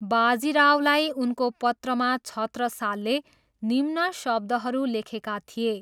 बाजीरावलाई उनको पत्रमा छत्रसालले निम्न शब्दहरू लेखेका थिए।